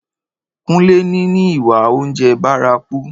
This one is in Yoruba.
Kúnlé ní ní ìwà oúnjẹ bárakú